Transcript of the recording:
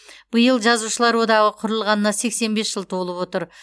биыл жазушылар одағы құрылғанына сексен бес жыл толып отыр